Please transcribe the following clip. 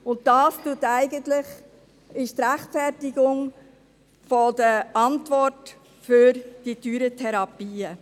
Und das ist eigentlich die Rechtfertigung der Antwort für die teuren Therapien.